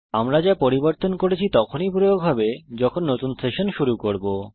আমরা যা পরিবর্তন করেছি তখনই প্রয়োগ হবে যখন নতুন সেশন শুরু করব